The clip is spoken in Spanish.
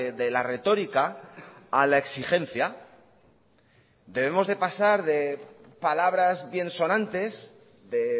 de la retórica a la exigencia debemos de pasar de palabras biensonantes de